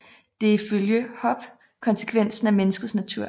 Det er ifølge Hobbes konsekvensen af menneskets natur